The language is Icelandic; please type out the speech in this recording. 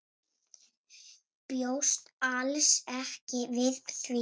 Bjóst alls ekki við því.